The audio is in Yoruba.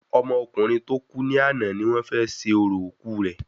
Ọmọ ọkùnrin tó kù ni àná ni wọ́n fé ṣe orò òkú rẹ